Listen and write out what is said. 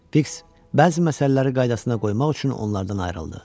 Fiks bəzi məsələləri qaydasına qoymaq üçün onlardan ayrıldı.